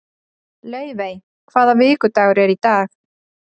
Laufey, hvaða vikudagur er í dag?